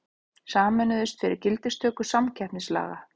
Sameinuðust fyrir gildistöku samkeppnislaga